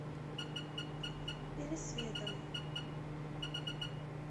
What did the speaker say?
пересветом